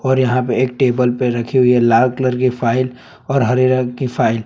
और यहां पे एक टेबल पे रखी हुई है लाल कलर की फाइल और हरे रंग की फाइल ।